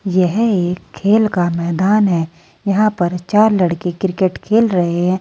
यह एक खेल का मैदान है यहां पर चार लड़के क्रिकेट खेल रहे हैं।